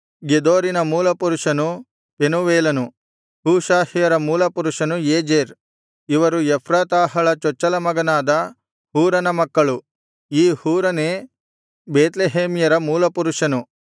ಗೆದೋರಿನ ಮೂಲಪುರುಷನು ಪೆನೂವೇಲನು ಹೂಷಾಹ್ಯರ ಮೂಲಪುರುಷನು ಏಜೆರ್ ಇವರು ಎಫ್ರಾತಾಹಳ ಚೊಚ್ಚಲ ಮಗನಾದ ಹೂರನ ಮಕ್ಕಳು ಈ ಹೂರನೇ ಬೇತ್ಲೆಹೇಮ್ಯರ ಮೂಲಪುರುಷನು